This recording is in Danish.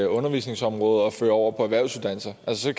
undervisningsområdet og føre dem over på erhvervsuddannelser altså